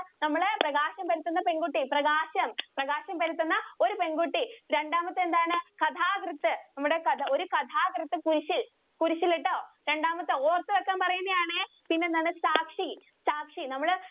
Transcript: പ്രകാശം പരത്തുന്ന പെണ്‍കുട്ടി, പ്രകാശം, പ്രകാശം പരത്തുന്ന ഒരു പെണ്‍കുട്ടി. രണ്ടാമത്തെ എന്താണ്? കഥാകൃത്ത്‌ നമ്മടെ കഥാ ഒരു കഥാകൃത്ത്‌ കുരിശ്ശില്‍, കുരിശ്ശിലീട്ടോ. രണ്ടാമത്തെ ഓര്‍ത്തു വക്കാന്‍ പറയുന്നയാണേ. പിന്നെന്താണ്? സാക്ഷി, സാക്ഷി നമ്മുടെ